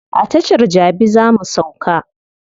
A tashar jabi za mu sauka.